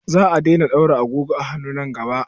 Za a daina ɗaura agogon hannu nan gaba kaɗan.